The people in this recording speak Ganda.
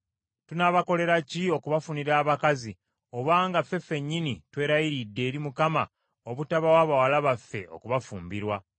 Tunaabakolera ki okubafunira abakazi, obanga ffe ffennyini twerayiridde eri Mukama obutabawa bawala baffe okubafumbirwa?”